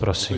Prosím.